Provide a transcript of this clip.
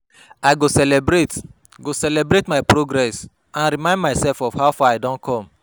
I go celebrate go celebrate my progress and remind myself of how far I don come.